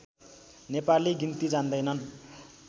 नेपाली गिन्ती जान्दैनन्